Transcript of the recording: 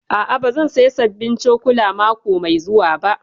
A'a, ba zan saya sabbin cokula mako mai zuwa ba